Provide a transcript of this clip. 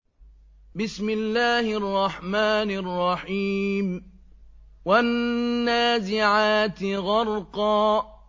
وَالنَّازِعَاتِ غَرْقًا